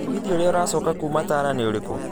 mũgithi ũria ũracoka kuuma tala nĩũrĩku